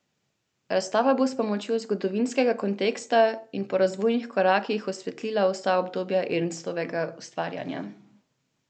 Razstava bo s pomočjo zgodovinskega konteksta in po razvojnih korakih osvetlila vsa obdobja Ernstovega ustvarjanja.